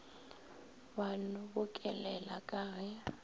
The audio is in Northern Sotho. ba no bokolela ka ge